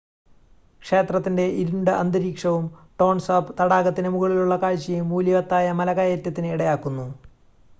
ക്ഷേത്രത്തിൻ്റെ ഇരുണ്ട അന്തരീക്ഷവും ടോൺ സാപ്പ് തടാകത്തിനു മുകളിലുള്ള കാഴ്ചയും മൂല്യവത്തായ മലകയറ്റത്തിന് ഇടയാക്കുന്നു